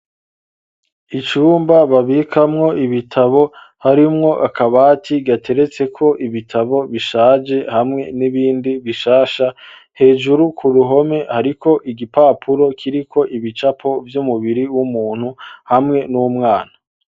Icumba, babikamwo ibitabo, harimwo akabati, gateretseko ibitabo bishaje, hamwe n'ibindi, bishasha; hejuru ku ruhome, hariko igipapuro, kiriko ibicapo vy'umubiri w'umuntu, hamwe n'umwana.